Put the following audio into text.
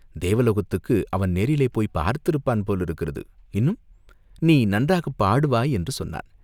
தேவலோகத்துக்கு அவன் நேரிலே போய்ப் பார்த்திருப்பான் போலிருக்கிறது இன்னும் நீ நன்றாகப் பாடுவாய் என்று சொன்னான்.